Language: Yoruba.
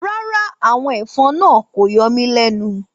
Rárá, àwọn ẹ̀fọn náà kò yọ mí lẹ́nu.